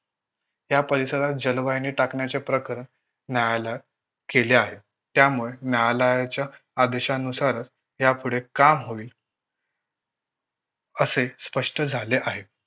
या परिसरात जलवाहिनी टाकण्याचे प्रकरण न्यायालयात गेले आहे. त्यामुळे न्यायालयाच्या आदेशानुसारच या पुढे काम होईल असे स्पष्ट झाले आहे.